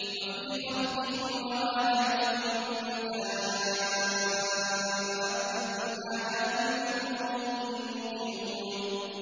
وَفِي خَلْقِكُمْ وَمَا يَبُثُّ مِن دَابَّةٍ آيَاتٌ لِّقَوْمٍ يُوقِنُونَ